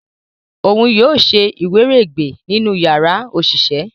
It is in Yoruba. òún yóò ṣe iwiregbe nínú yàrá oṣiṣẹ.